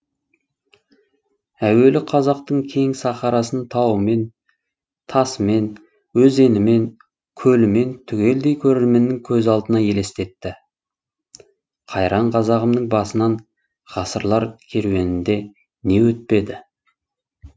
әуелі қазақтың кең сахарасын тауымен тасымен өзенімен көлімен түгелдей көрерменнің көз алдыңа елестетті қайран қазағымның басынан ғасырлар керуенінде не өтпеді